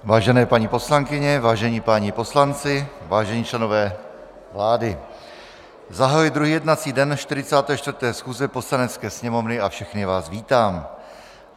Vážené paní poslankyně, vážení páni poslanci, vážení členové vlády, zahajuji druhý jednací den 44. schůze Poslanecké sněmovny a všechny vás vítám.